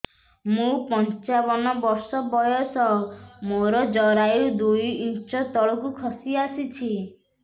ମୁଁ ପଞ୍ଚାବନ ବର୍ଷ ବୟସ ମୋର ଜରାୟୁ ଦୁଇ ଇଞ୍ଚ ତଳକୁ ଖସି ଆସିଛି